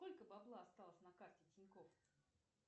сколько бабла осталось на карте тинькофф